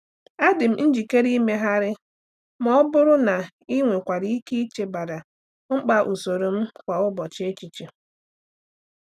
Adị m njikere imegharị ma ọ bụrụ na ị nwekwara ike ichebara mkpa usoro m kwa ụbọchị echiche.